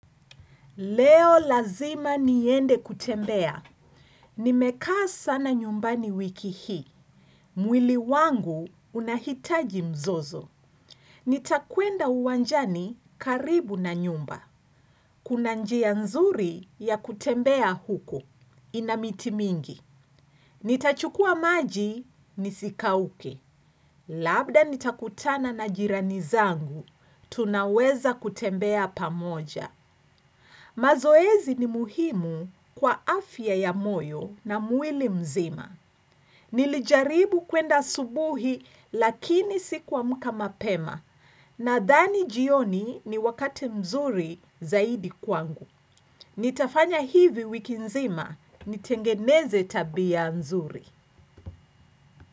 Leo lazima niende kutembea. Nimekaa sana nyumbani wiki hii. Mwili wangu unahitaji mzozo. Nitakwenda uwanjani karibu na nyumba. Kuna njia nzuri ya kutembea huko. Ina miti mingi. Nitachukua maji nisikauke. Labda nitakutana na jirani zangu. Tunaweza kutembea pamoja. Mazoezi ni muhimu kwa afya ya moyo na mwili mzima. Nilijaribu kuenda asubuhi lakini sikuamka mapema. Nadhani jioni ni wakati mzuri zaidi kwangu. Nitafanya hivi wiki nzima nitengeneze tabia nzuri.